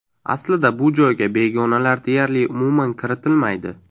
Aslida bu joyga begonalar deyarli umuman kiritilmaydi.